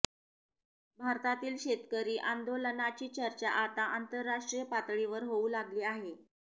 भारतातील शेतकरी आंदोलनाची चर्चा आता आंतरराष्ट्रीय पातळीवर होऊ लागली आहे